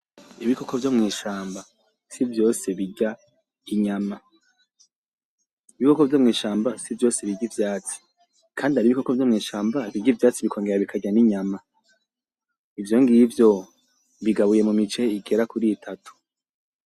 Ibikoko vyo mw'ishamba si vyose birya inyama. Ibikoko vyo mw'ishamba si vyose birya ivyatsi. Kandi hari ibikoko vyo mw'ishamba birya ivyatsi bikongera bikarya n'inyama, ivyo ngivyo bigabuye mu mice igera kuri itatu.